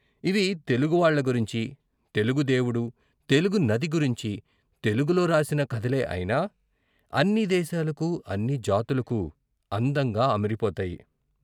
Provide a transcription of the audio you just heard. ఇవి, తెలుగు వాళ్ళ గురించి, తెలుగు దేవుడు, తెలుగు నది గురించి తెలుగులో రాసిన కథలే అయినా అన్ని దేశాలకూ, అన్ని జాతులకూ అందంగా అమరిపోతాయి.